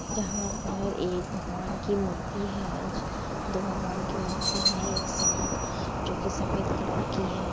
यहां पर एक भगवान की मूर्ति है| दो भगवान की मूर्ति है एक साथ जो की सफेद कलर की है।